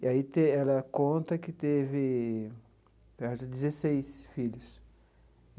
E aí te ela conta que teve, eu acho, dezesseis filhos.